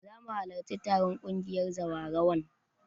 Zamu halarci taron ƙungiyar zawarawan